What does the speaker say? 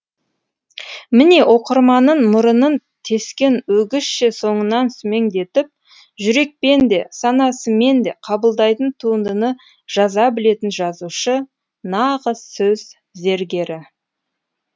міне оқырманын мұрынын тескен өгізше соңынан сүмеңдетіп жүрекпен де санасымен де қабылдайтын туындыны жаза білетін жазушы нағыз сөз зергері